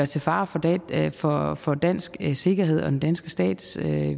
til fare for fare for dansk sikkerhed og den danske stats